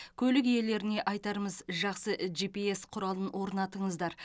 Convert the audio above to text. көлік иелеріне айтарымыз жақсы жипиэс құралын орнатыңыздар